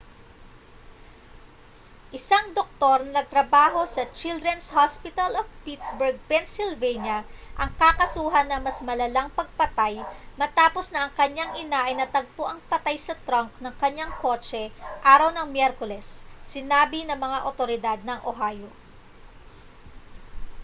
isang doktor na nagtrabaho sa children's hospital of pittsburgh pennsylvania ang kakasuhan ng mas malalang pagpatay matapos na ang kanyang ina ay natagpuang patay sa trunk ng kanyang kotse araw ng miyerkules sinabi ng mga awtoridad ng ohio